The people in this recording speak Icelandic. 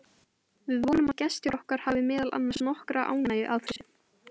Við vonum að gestir okkar hafi meðal annars nokkra ánægju af þessu.